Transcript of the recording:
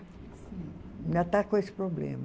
Ainda está com esse problema.